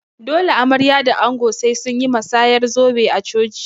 Dole amarya da ango sai sunyi masayar zobe a coci